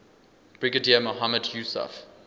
brigadier mohammad yousaf